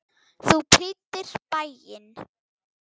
Þú prýddir bæinn.